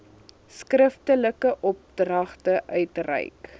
skriftelike opdragte uitreik